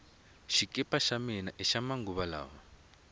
xikipa xa mina hixa manguva lawa